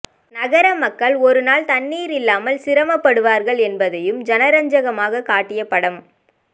நகர மக்கள் ஒருநாள் தண்ணீர் இல்லாமல் சிரமப்படுவார்கள் என்பதையும் ஜனரஞ்சகமாக காட்டிய படம்